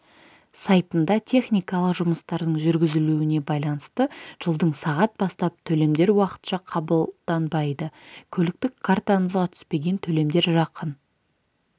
сайтында техникалық жұмыстардың жүргізілуіне байланысты жылдың сағат бастап төлемдер уақытша қабылданбайды көліктік картаңызға түспеген төлемдер жақын